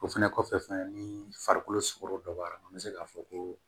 O fɛnɛ kɔfɛ fɛnɛ ni farikolo sogo dɔ b'a la an be se k'a fɔ ko